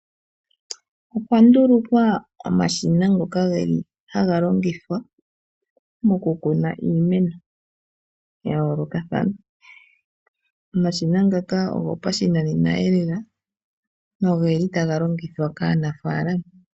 Okwa ndulukwa omashina ngoka haga longithwa moku kuna iimeno ya yoolokathana. Omashina ngaka ogo pashinanena elela nogeli taga longithwa kaanafaalama.